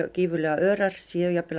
gífurlega örar séu jafnvel